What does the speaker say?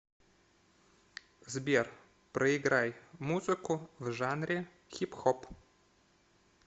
сбер проиграй музыку в жанре хип хоп